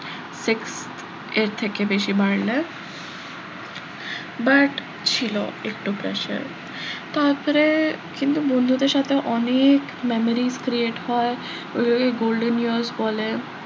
sixth এর থেকে বেশি বাড়লে but ছিল একটু pressure তারপরে কিন্তু বন্ধুদের সাথে অনেক memory create হয় ওগুলোকে golden years বলে,